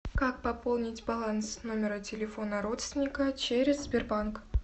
как пополнить баланс номера телефона родственника через сбербанк